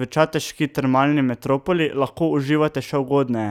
V čateški termalni metropoli lahko uživate še ugodneje,